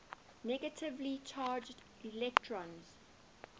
negatively charged electrons